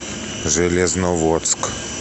железноводск